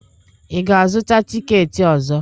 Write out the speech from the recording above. Ị ga-azụta tikeeti ọzọ?